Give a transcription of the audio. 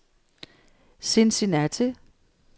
Cincinnati